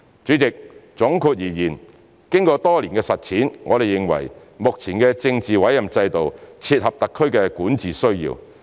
主席，總括而言，經過多年的實踐，我們認為目前的政治委任制度切合特區的管治需要。